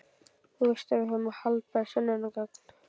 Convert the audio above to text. Þú veist að við höfum haldbær sönnunargögn.